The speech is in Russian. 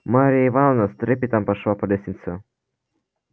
марья ивановна с трепетом пошла по лестнице